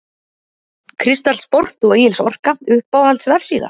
Kristall Sport og Egils Orka Uppáhalds vefsíða?